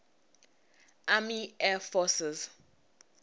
army air forces